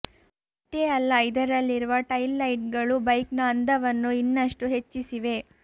ಅಷ್ಟೇ ಅಲ್ಲ ಇದರಲ್ಲಿರುವ ಟೈಲ್ ಲೈಟ್ಗಳು ಬೈಕ್ನ ಅಂದವನ್ನು ಇನ್ನಷ್ಟು ಹೆಚ್ಚಿಸಿವೆ